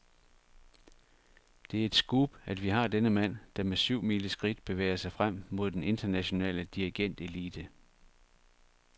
Det er et scoop, at vi har denne mand, der med syvmileskridt bevæger sig frem mod den internationale dirigentelite.